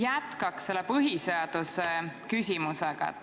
Jätkan selle põhiseaduse küsimusega.